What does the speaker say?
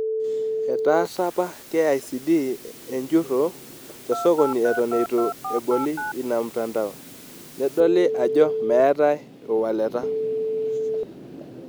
Etaasa apa KICD enjurro tesokoni eton eitu eboli ina mtandao, nedoili ajo meetae iwaleta.